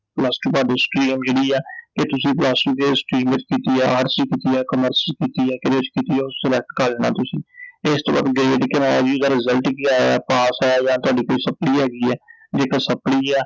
Plus two ਤੁਹਾਡੀ stream ਜਿਹੜੀ ਐ ਕਿ ਤੁਸੀਂ Plus two ਕਿਹੜੀ stream ਵਿਚ ਕੀਤੀ ਐ arts ਚ ਕੀਤੀ ਐ commerce ਚ ਕੀਤੀ ਐ, ਕੀਹਦੇ ਚ ਕੀਤੀ ਐ ਉਹ select ਕਰ ਲੈਣਾ ਤੁਸੀਂ, ਤੇ ਇਸ ਤੋਂ ਬਾਅਦ ਇਹਦਾ result ਕੀ ਆਇਆ, ਪਾਸ ਆਇਆ, ਜਾਂ ਤੁਹਾਡੀ ਕੋਈ supply ਹੈਗੀ ਐ I ਜੇਕਰ supply ਐ ਤਾਂ